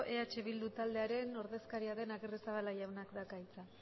eh bildu taldearen ordezkaria den agirrezabala jaunak dauka hitza